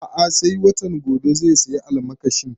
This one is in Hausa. A'a sai watan gobe zai saya almakashin